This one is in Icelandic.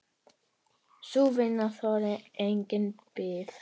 Sú vinna þolir enga bið.